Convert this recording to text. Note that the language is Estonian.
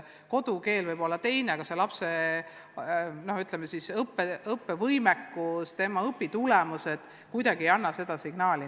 Kodukeel võib olla teine, aga lapse õppevõimekus, tema õpitulemused ei viita sellele kuidagi.